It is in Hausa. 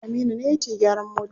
Aminu ne yake gyaran mota.